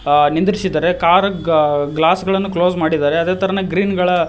ಆ ನಿಂದ್ರಿಸಿದ್ದಾರೆ ಕಾರ್ ಆ ಗ್ಲಾಸ್ ಗಳನ್ನು ಕ್ಲೋಸ್ ಮಾಡಿದ್ದಾರೆ ಅದೆ ತರ ಗ್ರೀನ್ ಗಳ--